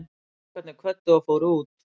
Strákarnir kvöddu og fóru út.